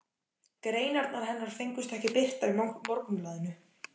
Greinarnar hennar fengust ekki birtar í Morgunblaðinu.